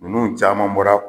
Niunu caman bɔra